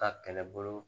Ka kɛlɛbolo